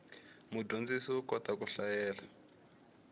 mudyondzi u kota ku hlayela